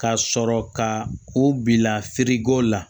Ka sɔrɔ ka o bila feereko la